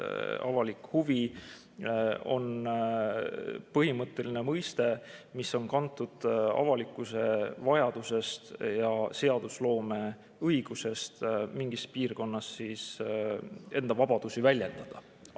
Avalik huvi on põhimõtteliselt mõiste, mis on kantud avalikkuse vajadusest ja seadusloome õigusest mingis piirkonnas enda vabadusi.